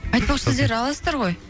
айтпақы сіздер аласыздар ғой